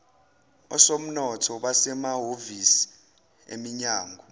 osomnotho basemahhovisi eminyango